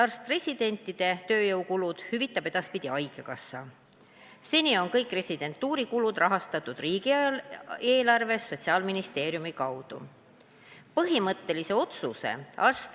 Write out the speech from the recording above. Arst-residentide tööjõukulud hüvitab edaspidi haigekassa, seni on kõik residentuurikulud kaetud Sotsiaalministeeriumi kaudu riigieelarvest.